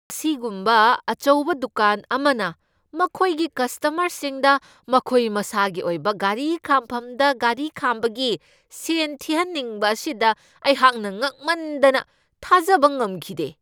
ꯑꯁꯤꯒꯨꯝꯕ ꯑꯆꯧꯕ ꯗꯨꯀꯥꯟ ꯑꯃꯅ ꯃꯈꯣꯏꯒꯤ ꯀꯁꯇꯃꯔꯁꯤꯡꯗ ꯃꯈꯣꯏ ꯃꯁꯥꯒꯤ ꯑꯣꯏꯕ ꯒꯥꯔꯤ ꯈꯥꯝꯐꯝꯗ ꯒꯥꯔꯤ ꯈꯥꯝꯕꯒꯤ ꯁꯦꯟ ꯊꯤꯍꯟꯅꯤꯡꯕ ꯑꯁꯤꯗ ꯑꯩꯍꯥꯛꯅ ꯉꯛꯃꯟꯗꯅ ꯊꯥꯖꯕ ꯉꯝꯈꯤꯗꯦ !